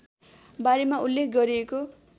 बारेमा उल्लेख गरिएको